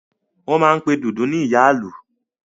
Wọ́n máa n pe Dundun ní Ìyá Ìlú